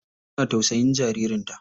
Uwa na tausayin jaririn ta.